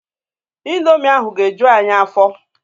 Indomi ahụ ga-eju anyị afọ.